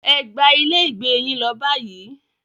Ẹ gba ilé ìgbé yín lọ báyìí.